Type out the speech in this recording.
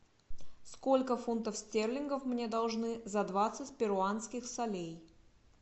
сколько фунтов стерлингов мне должны за двадцать перуанских солей